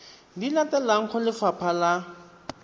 di latelang go lefapha la